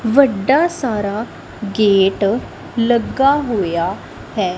ਵੱਡਾ ਸਾਰਾ ਗੇਟ ਲੱਗਾ ਹੋਇਆ ਹੈ।